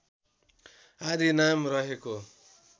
आदि नाम रहेको